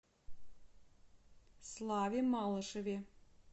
славе малышеве